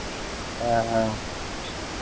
ಹ್ಮಹ್ಮ.